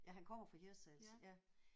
Ja han kommer fra Hirtshals ja